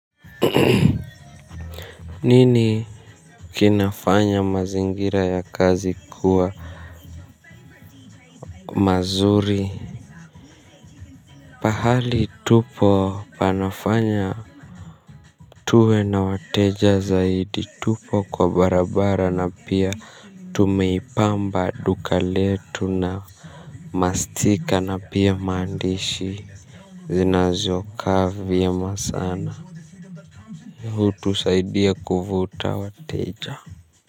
Nini kinafanya mazingira ya kazi kuwa mazuri. Pahali tupo panafanya. Tuwe na wateja zaidi, tupo kwa barabara na pia tumeipamba duka letu. Mastika na pia maandishi zinazo kaa vyema sana hutusaidia kuvuta wateja.